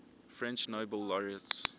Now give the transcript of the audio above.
french nobel laureates